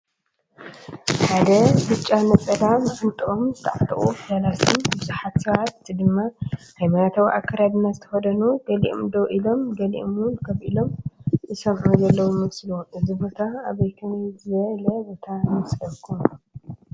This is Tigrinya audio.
ሓደ ብጫ ነፀላ ማዓንጠኦም ዝተዓጠቑ ፈላስን ብዙሓት ሰባት ድማ ሃይማኖታዊ ኣከዳድና ዝተኸደኑ፣ ገሊኦም ደው ኢሎም ገሊኦም ውን ከፍ ኢሎም ዝሰምዑ ዘለው ይመስሉ፡፡ እዚ ቦታ ኣብ ከመይ ዝበለ ቦታ ይመስለኩም?